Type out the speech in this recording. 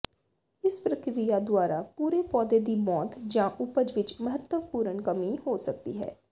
ਇਸ ਪ੍ਰਕਿਰਿਆ ਦੁਆਰਾ ਪੂਰੇ ਪੌਦੇ ਦੀ ਮੌਤ ਜਾਂ ਉਪਜ ਵਿਚ ਮਹੱਤਵਪੂਰਨ ਕਮੀ ਹੋ ਸਕਦੀ ਹੈ